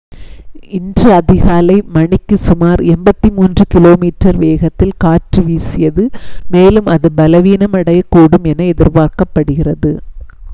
இன்று அதிகாலை மணிக்கு சுமார் 83 km வேகத்தில் காற்று வீசியது மேலும் அது பலவீனமடையக்கூடும் என எதிர்பார்க்கப்படுகிறது